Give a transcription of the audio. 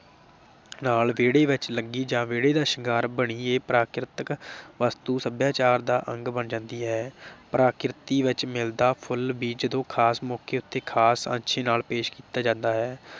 ਨਾਲ ਵਿਹੜੇ ਵਿਚ ਲੱਗੀ ਜਾ ਵਿਹੜੇ ਦਾ ਸ਼ਿੰਗਾਰ ਬਣੀ ਏ । ਪ੍ਰਾਕਿਰਤਕ ਵਸਤੂ ਸਭਿਆਚਾਰ ਦਾ ਅੰਗ ਬਣ ਜਾਂਦੀ ਐ ਪ੍ਰਕਿਰਤੀ ਵਿਚ ਮਿਲਦਾ ਫੁੱਲ ਵੀ ਜਦੋਂ ਖਾਸ ਮੌਕੇ ਤੇ ਖਾਸ ਤਰੀਕੇ ਨਾ ਪੇਸ਼ ਕੀਤਾ ਜਾਂਦਾ ਹੈ